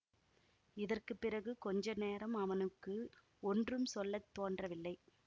இதற்கு பிறகு கொஞ்ச நேரம் அவனுக்கு ஒன்றும் சொல்ல தோன்றவில்லை